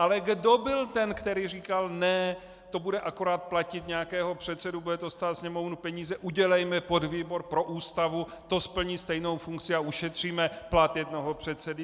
Ale kdo byl ten, který říkal ne, to bude akorát platit nějakého předsedu, bude to stát Sněmovnu peníze, udělejme podvýbor pro Ústavu, to splní stejnou funkci a ušetříme plat jednoho předsedy?